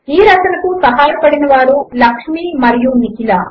ఈ రచనకు సహాయపడినవారు లక్ష్మి మరియు నిఖిల